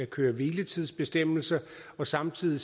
køre hvile tids bestemmelserne samtidig